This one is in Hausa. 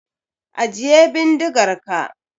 Ajiye bindigar ka!